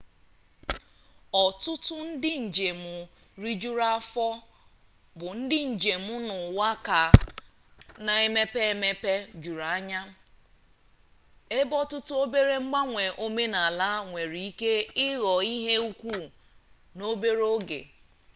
ọtụtụ ndị njem rijuru afọ bụ ndị njem n'ụwa ka na emepe emepe juru anya ebe ọtụtụ obere mgbanwe omenala nwereike ịghọ ihe ukwu n'obere oge